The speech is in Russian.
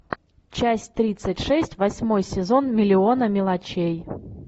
часть тридцать шесть восьмой сезон миллиона мелочей